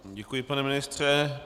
Děkuji, pane ministře.